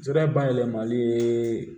Sira bayɛlɛmali ye